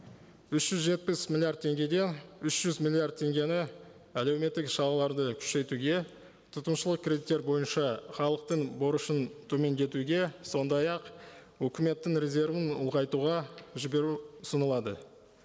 үш жүз жетпіс миллиард теңгеден үш жүз миллиард теңгені әлеуметтік күшейтуге тұтынушылық кредиттер бойынша халықтың борышын төмендетуге сондай ақ үкіметтің резервін ұлғайтуға жіберу ұсынылады